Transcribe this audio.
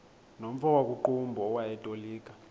nomfo wakuqumbu owayetolika